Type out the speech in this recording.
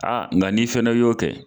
A nga n'i fɛnɛ y'o kɛ.